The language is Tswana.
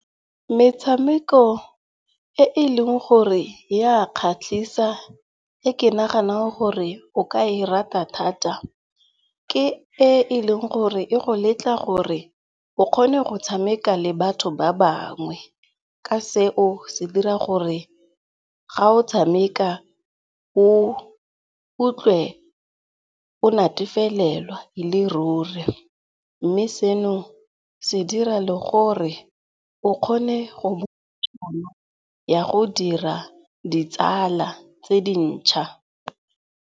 Metshameko e e leng gore ya kgatlhisa e ke naganang gore o ka e rata thata ke e e leng gore e go letla gore o kgone go tshameka le batho ba bangwe. Ka seo se dira gore ga o tshameka o utlwe o nnatefelelwa e le ruri. Mme seno se dira le gore o kgone go tšhono ya go dira ditsala tse dintšha.